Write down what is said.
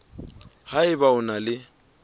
ha eba o na le